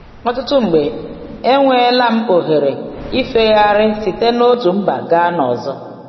Ọtụtụ mgbe, enweela m ohere ịfegharị site n’otu mba gaa n’ọzọ.